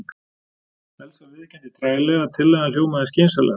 Elsa viðurkenndi treglega að tillagan hljómaði skynsamlega.